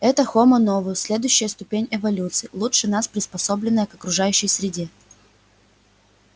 это хомо новус следующая ступень эволюции лучше нас приспособленная к окружающей среде